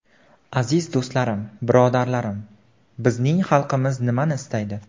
Aziz do‘stlarim, birodarlarim, bizning xalqimiz nimani istaydi?